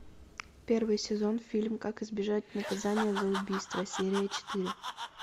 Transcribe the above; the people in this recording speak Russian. первый сезон фильм как избежать наказания за убийство серия четыре